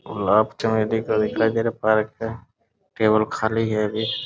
और आप चाहे पार्क है केवल खाली है अभी --